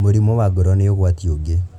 Mũrimũ wa ngoro nĩ ũgwati ũngĩ